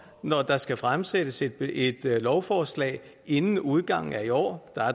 når der skal fremsættes et et lovforslag inden udgangen af i år